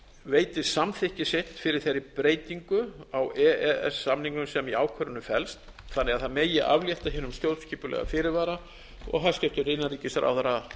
veiti samþykki sitt fyrir þeirri breytingu á e e s samningnum sem í ákvörðuninni felst þannig að það megi aflétta hinum stjórnskipulega fyrirvara og hæstvirtur innanríkisráðherra